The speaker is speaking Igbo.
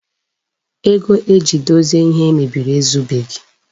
Ego eji dozie ihe e mebiri ezubeghi.